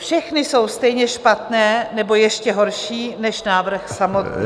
Všechny jsou stejně špatné nebo ještě horší než návrh samotný.